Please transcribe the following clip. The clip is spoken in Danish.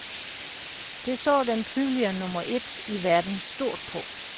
Det så den tidligere nummer et i verden stort på.